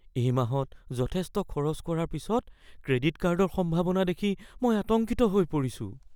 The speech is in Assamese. এই মাহত যথেষ্ট খৰচ কৰাৰ পিছত ক্ৰেডিট হ্ৰাসৰ সম্ভাৱনা দেখি মই আতংকিত হৈ পৰিছোঁ।